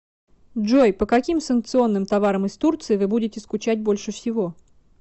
джой по каким санкционным товарам из турции вы будете скучать больше всего